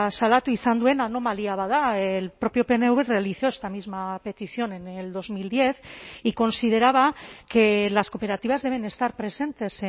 salatu izan duen anomalia bat da el propio pnv realizó esta misma petición en el dos mil diez y consideraba que las cooperativas deben estar presentes